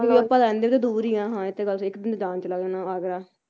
ਬਲਕਿ ਆਪਾਂ ਰਹਿੰਦੇ ਵੀ ਦੂਰ ਹੀ ਆ ਹਾਂ ਇਹ ਤਾਂ ਗੱਲ ਦਿਖਦੀ ਇੱਕ ਦਿਨ ਜਾਣ ਚ ਲੱਗ ਜਾਣਾ ਆਗਰਾ